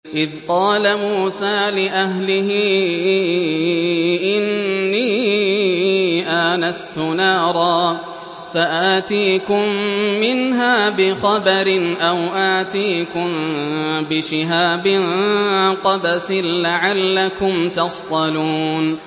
إِذْ قَالَ مُوسَىٰ لِأَهْلِهِ إِنِّي آنَسْتُ نَارًا سَآتِيكُم مِّنْهَا بِخَبَرٍ أَوْ آتِيكُم بِشِهَابٍ قَبَسٍ لَّعَلَّكُمْ تَصْطَلُونَ